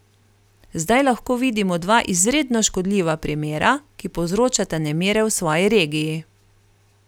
Zdaj lahko vidimo dva izredno škodljiva primera, ki povzročata nemire v svoji regiji.